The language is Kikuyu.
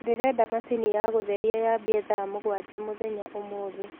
ndĩrenda machĩnĩ ya gutherĩa ya ambie thaa mũgwanja mũthenya ũmũthĩ